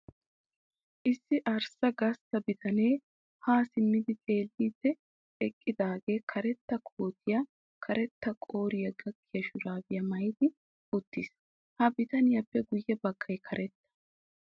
Issi arssa gastta bitanee haa simmi xeelliddi eqqidaagee karetta kootiyara karetta qooriya gakkiya shuraabiya maayi uttiis. Ha bitaniyappe guyye baggay karetta.